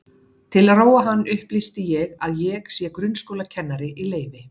Til að róa hann upplýsi ég að ég sé grunnskólakennari í leyfi.